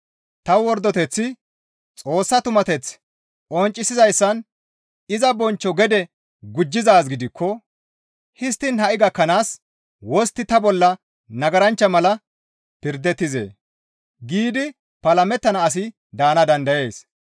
«Ta wordoteththi Xoossa tumateth qonccisizayssan iza bonchcho gede gujjizaa gidikko histtiin ha7i gakkanaas wostti ta bolla nagaranchcha mala pirdettizee?» giidi palamettana asi daana dandayees.